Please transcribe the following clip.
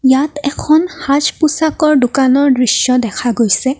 ইয়াত এখন সাজ পোছাকৰ দোকানৰ দৃশ্য দেখা গৈছে।